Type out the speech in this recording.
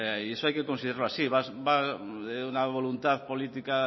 y eso hay que considerarlo así una voluntad política